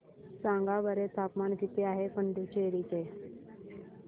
सांगा बरं तापमान किती आहे पुडुचेरी चे